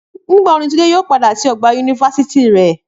Nígbà wo ni Túndé yóò padà sí ọgbà yunifásítì rẹ?